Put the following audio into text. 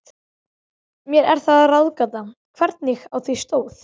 Mér er það ráðgáta, hvernig á því stóð.